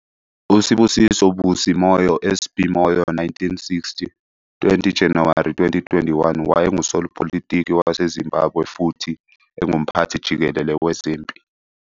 USibusiso Busi Moyo, SB Moyo, 1960 - 20 Januwari 2021, wayengusopolitiki waseZimbabwe futhi engumphathi jikelele wezempi.